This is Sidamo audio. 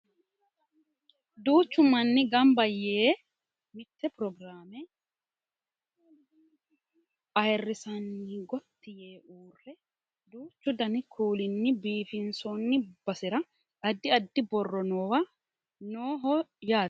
duuchu manni ganba yee mitte pirogiraame ayeerrisanni gotti yee uurre duuchu dani kuulinni biifinsoonni basera addi addi borro noowa nooho yaate